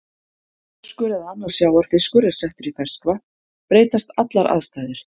Ef þorskur eða annar sjávarfiskur er settur í ferskvatn breytast allar aðstæður.